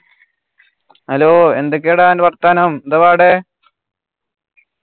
hello എന്തൊക്കെയാടാ അൻ്റെ വർത്താനം ന്താ അവിടെ